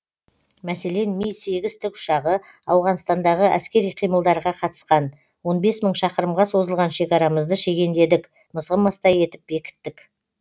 мәселен ми сегіз тікұшағы ауғанстандағы әскери қимылдарға қатысқан он бес мың шақырымға созылған шекарамызды шегендедік мызғымастай етіп бекіттік